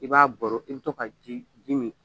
I b'a baro i be to ka ji ji min .